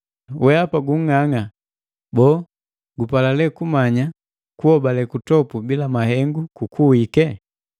Wehapa gung'ang'a! Boo, gupala lee kumanya kuhobale kutopu bila mahengu kukuwike?